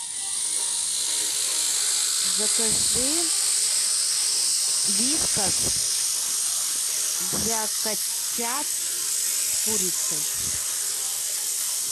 закажи вискас для котят с курицей